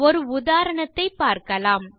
ஒரு உதாரணத்தைப் பார்க்கலாம்